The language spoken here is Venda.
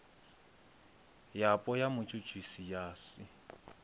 yapo ya mutshutshisi ya si